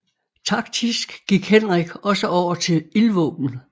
Taktisk gik Henrik også over til ildvåben